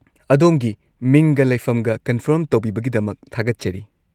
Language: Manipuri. ꯑꯗꯣꯝꯒꯤ ꯃꯤꯡꯒ ꯂꯩꯐꯝꯒ ꯀꯟꯐꯥꯔꯝ ꯇꯧꯕꯤꯕꯒꯤꯗꯃꯛ ꯊꯥꯒꯠꯆꯔꯤ꯫